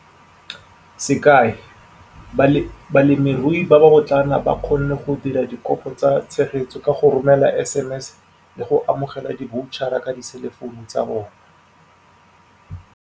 Sekai, balemirui ba ba botlana ba kgonne go dira dikopo tsa tshegetso ka go romela SMS le go amogela diboutjahara ka diselefounu tsa bona.